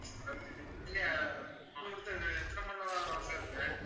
நேரம் sir